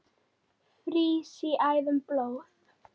frýs í æðum blóð